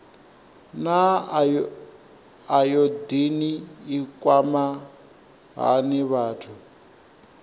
naa ayodini i kwama hani vhathu